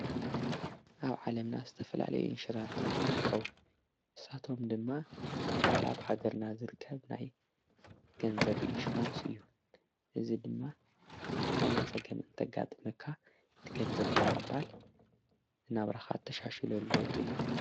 ኣብ ዓለምና ዝተፈላለዩ ይንሽራንታት ይርከዉ ብሳቶም ድማ እቲ ሓደ ሃገርና ዝርከብ ናይ ገንዘብ ኢንሽራንስ እዩ እዚ ድማ ዝኾነ ጸገም እንተጋጥምካ ትገንዘብ ምቕባል እናብራኻት ተሻሽሉ ኣለውጡ እዩ።